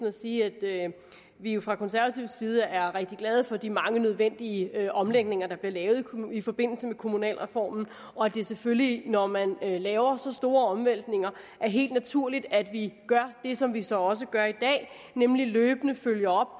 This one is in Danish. at sige at vi jo fra konservatives side er rigtig glade for de mange nødvendige omlægninger der blev lavet i forbindelse med kommunalreformen og at det selvfølgelig når man laver så store omvæltninger er helt naturligt at vi gør det som vi så også gør i dag nemlig løbende følger